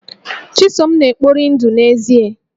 Chisom na-ekpori ndụ n'èzí